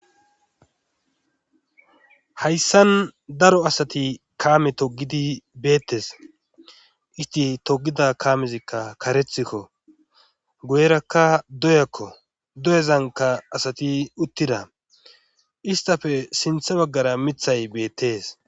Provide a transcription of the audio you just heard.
hayssan daro asati kaame togidi beettes isti togida kaamezikka karethikko guyerakka doyakko doyezanka asati uttida istafe sintha baggara mithay beettees